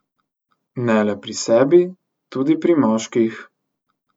Ne le pri sebi, tudi pri moških.